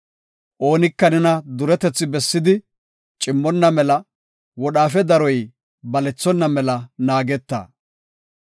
Oonika nena duretethi bessidi cimmonna mela, wodhaafe daroy balethonna mela naageta.